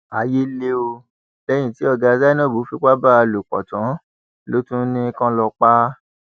ayé le o lẹyìn tí ọgá zainab fipá bá a lò pọ tán ló ní kí wọn lọọ pa á